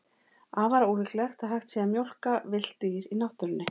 Afar ólíklegt að hægt sé að mjólka villt dýr í náttúrunni.